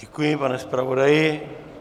Děkuji, pane zpravodaji.